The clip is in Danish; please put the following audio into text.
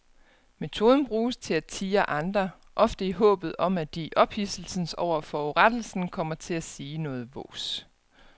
Metoden bruges til at tirre andre, ofte i håbet om at de i ophidselsen over forurettelsen kommer til at sige noget vås.